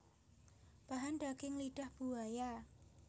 Bahan Daging lidah buaya